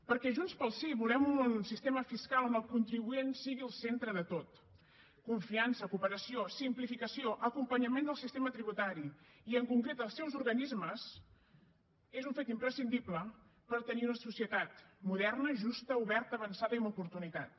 perquè junts pel sí volem un sistema fiscal on el contribuent sigui el centre de tot confiança cooperació simplificació acompanyament del sistema tributari i en concret dels seus organismes és un fet imprescindible per tenir una societat moderna justa oberta avançada i amb oportunitats